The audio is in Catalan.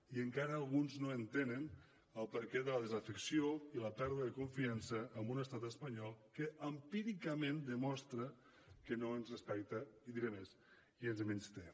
i encara alguns no entenen el perquè de la desafecció i la pèrdua de confiança en un estat espanyol que empíricament demostra que no ens respecta i diré més i ens menysté